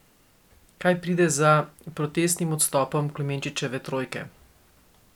Kaj pride za protestnim odstopom Klemenčičeve trojke?